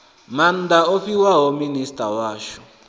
maanda o fhiwaho minisita washu